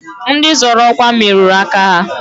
Ndị zọrọ ọkwa merụrụ aka ha.